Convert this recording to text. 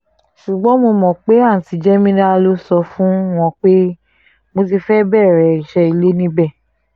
ṣùgbọ́n mo mọ̀ pé àùntì jẹ́mílà ló sọ fún wọn pé mo ti fẹ́ẹ́ bẹ̀rẹ̀ iṣẹ́ ilé níbẹ̀